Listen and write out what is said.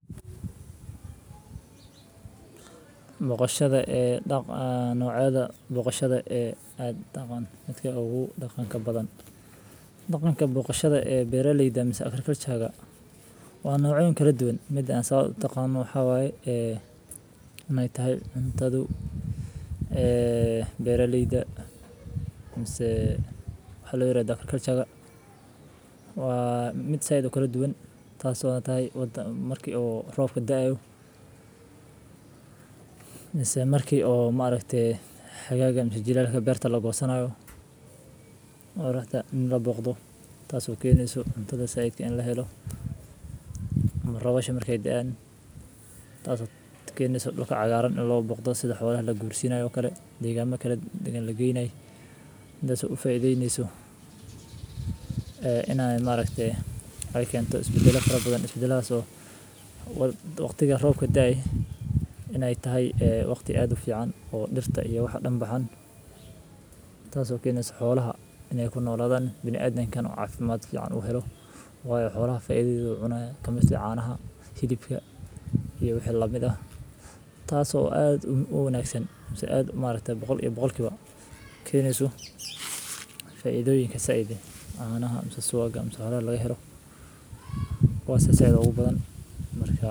Booqashadaa noocyada Waxaa jira noocyo badan oo boqosha ah oo ay ka mid yihiin boqosha casriga ah, boqosha dabiiciga ah, boqosha xildhiban, boqosha la isku daray, boqosha macaan, boqosha qaraha, boqosha la shiiday, boqosha la kala qaybiyay, boqosha la isku daray oo dhadhan badan leh, boqosha la qasay, boqosha la qaboojiyay, boqosha la sameeyay si gaar ah, boqosha la isku daray oo khudaarta leh, boqosha la isku daray oo miraha leh, boqosha la isku daray oo xawaajaha leh, boqosha la isku daray oo ukunta leh, boqosha la isku daray oo suugaar ah.